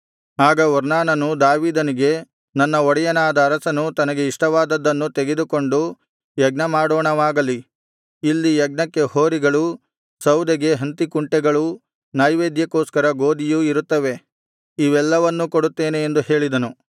ಆಗ ಒರ್ನಾನನು ದಾವೀದನಿಗೆ ನನ್ನ ಒಡೆಯನಾದ ಅರಸನು ತನಗೆ ಇಷ್ಟವಾದದ್ದನ್ನು ತೆಗೆದುಕೊಂಡು ಯಜ್ಞಮಾಡೋಣವಾಗಲಿ ಇಲ್ಲಿ ಯಜ್ಞಕ್ಕೆ ಹೋರಿಗಳೂ ಸೌದೆಗೆ ಹಂತೀಕುಂಟೆಗಳೂ ನೈವೇದ್ಯಕ್ಕೋಸ್ಕರ ಗೋದಿಯೂ ಇರುತ್ತವೆ ಇವೆಲ್ಲವನ್ನೂ ಕೊಡುತ್ತೇನೆ ಎಂದು ಹೇಳಿದನು